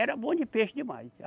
Era bom de peixe demais.